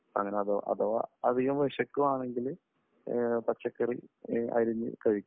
അഥവാ അധികം വിശക്കുകയാണെങ്കിൽ പച്ചക്കറി അരിഞ്ഞു കഴിക്കും.